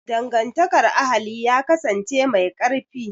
Dangantakar ahali ya kasance mai ƙarfi